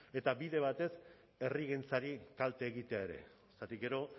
eta bide batez herrigintzari kalte egitea ere zergatik gero